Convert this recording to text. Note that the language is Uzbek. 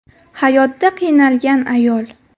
hayotda qiynalgan ayol.